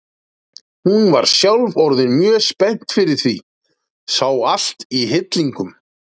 Hún var sjálf orðin mjög spennt fyrir því, sá allt í hillingum.